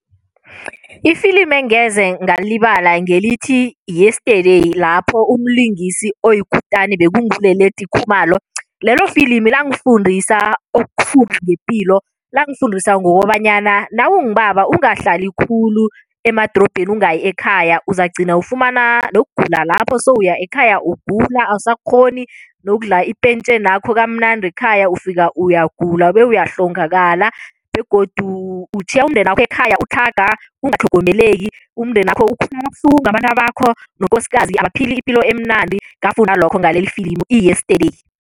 Ifilimi engeze ngalilibala ngelithi-Yesterday, lapho umlingisi oyikutani bekunguLeleti Khumalo. Lelo filimi langifundisa okukhulu ngepilo. Langifundisa ngokobanyana nawungubaba ungahlali khulu emadorobheni ungayi ekhaya. Uzagcina ufumana nokugula lapho, sewuya ekhaya ugula, awusakghoni nokudla ipentjhenakho kamnandi ekhaya ufika uyagula bewuyahlongakala begodu utjhiya umndenakho ekhaya utlhaga, ungatlhogomeleki umndenakho abantabanakho nokosikazi abaphili ipilo emnandi, ngafunda lokho ngalelifilimu i-Yesterday.